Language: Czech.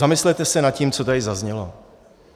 Zamyslete se nad tím, co tady zaznělo.